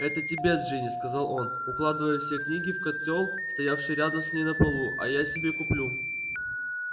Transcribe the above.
это тебе джинни сказал он укладывая все книги в котёл стоявший рядом с ней на полу а я себе куплю